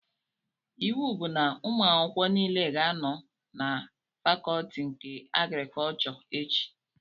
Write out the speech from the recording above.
Iwu bụ na ụmụ akwụkwọ nile ga-anọ na fakọtị nke agrikọchọ echi!